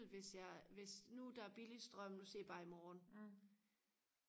hvis jeg hvis nu der er billig strøm nu siger jeg bare i morgen